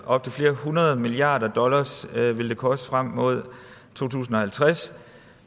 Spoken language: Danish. op til flere hundrede milliarder dollars ville det koste frem mod to tusind og halvtreds